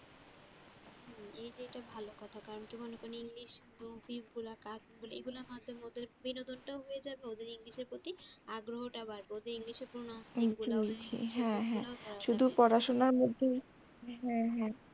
ভালো কথা কারণ কি বলতো englishmovies গুলা cartoon গুলা এগুলোর মাধ্যমে ওদের বিনোদনটাও হয়ে যাবে ওদের english র প্রতি আগ্রহটাও বাড়বে ওদের একদম হ্যাঁ হ্যাঁ হ্যাঁ শুধু পড়াশোনার মধ্যে হ্যাঁ হ্যাঁ